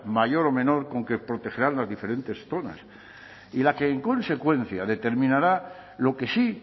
mayor o menor con que protegerán las diferentes zonas y la que en consecuencia determinará lo que sí